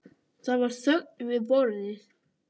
Það var þögn við borðið.